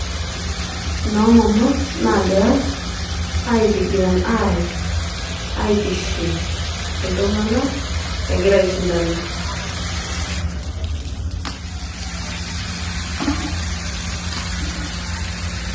Nomama nagira aitigiran arany ,aitiship iltunganak egira aishindana.